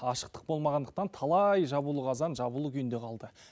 ашықтық болмағандықтан талай жабулы қазан жабулы күйінде қалды